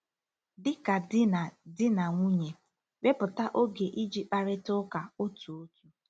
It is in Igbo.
Dị ka di na di na nwunye, wepụta oge iji kparịta ụka otu otu.